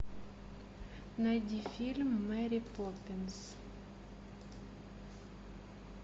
найди фильм мэри поппинс